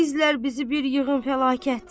İzlər bizi bir yığın fəlakət.